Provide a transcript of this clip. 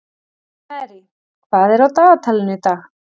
Marie, hvað er á dagatalinu í dag?